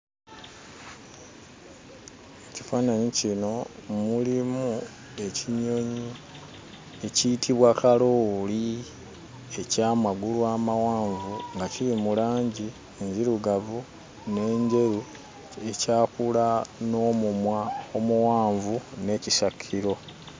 Ekifaananyi kino mulimu ekinyonyi ekiyitibwa kalooli eky'amagulu amawanvu nga kiri mu langi enzirugavu n'enjeru ekyakula n'omumwa omuwanvu n'ekisakiro.